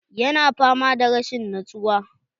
Ya na fama da rashin nutsuwa